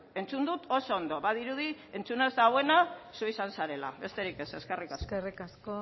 entzun dut oso ondo badirudi entzun ez duena zu izan zarela besterik ez eskerrik asko eskerrik asko